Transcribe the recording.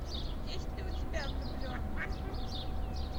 есть ли у тебя влюбленные